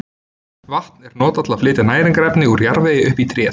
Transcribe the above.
Vatn er notað til að flytja næringarefni úr jarðvegi upp í tréð.